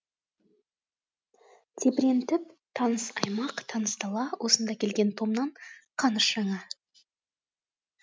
тебірентіп таныс аймақ таныс дала осында келген томнан қаныш жаңа